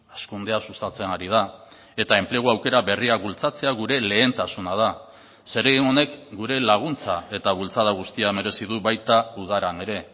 hazkundea sustatzen ari da eta enplegu aukera berriak bultzatzea gure lehentasuna da zeregin honek gure laguntza eta bultzada guztia merezi du baita udaran ere